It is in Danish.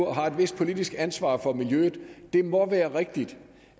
har et vist politisk ansvar for miljøet at det må være rigtigt